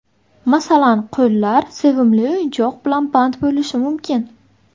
Masalan, qo‘llar sevimli o‘yinchoq bilan band bo‘lishi mumkin.